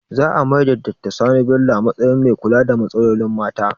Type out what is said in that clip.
Za a maida Doctor Sani Bello a matsayin mai kula da matsalolin mata